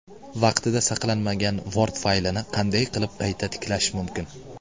Vaqtida saqlanmagan Word faylini qanday qilib qayta tiklash mumkin?.